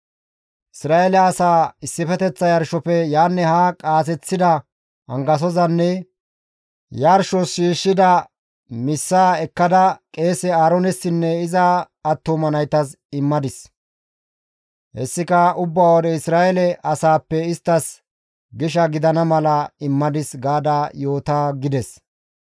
Isra7eele asaa issifeteththa yarshofe yaanne haa qaaseththida angasozanne yarshos shiishshida missaa ekkada qeese Aaroonessinne iza attuma naytas immadis; hessika ubba wode Isra7eele asaappe isttas gisha gidana mala immadis› gaada yoota» gides.